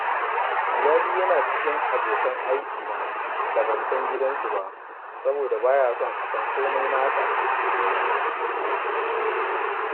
Ghali yana cikin abokan aikina da ban san gidansu ba, saboda ba ya so a san komai nasa